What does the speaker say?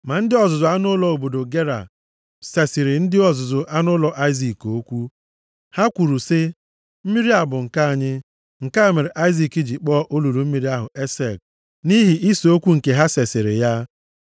Ma ndị ọzụzụ anụ ụlọ obodo Gera sesịrị ndị ọzụzụ anụ ụlọ Aịzik okwu. Ha kwuru sị, “Mmiri a bụ nke anyị!” Nke a mere Aịzik ji kpọọ olulu mmiri ahụ Esek, nʼihi ise okwu nke ha sesịrị ya.